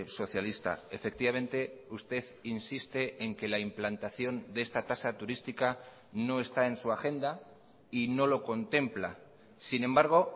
socialista efectivamente usted insiste en que la implantación de esta tasa turística no está en su agenda y no lo contempla sin embargo